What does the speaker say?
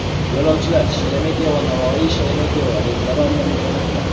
Yo‘lovchilar SheremetyevoNavoiySheremetyevo reyslari orqali jo‘natiladi.